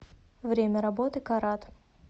время работы карат